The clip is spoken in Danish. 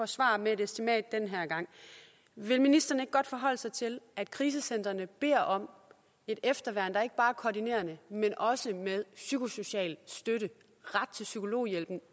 svar med et estimat den her gang vil ministeren ikke godt forholde sig til at krisecentrene beder om et efterværn der ikke bare er koordinerende men også med psykosocial støtte ret til psykologhjælp